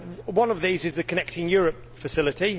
One of these is the Connecting Europe Facility.